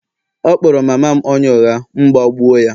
ọ kpọrọ mama m onye ụgha, m gbagbụ ya